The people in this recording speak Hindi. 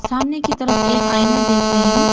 सामने की तरफ एक आईना देख रही हूं।